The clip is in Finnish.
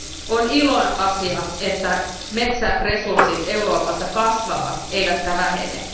On ilon asia, että metsäresurssit Euroopassa kasvavat eivätkä vähene.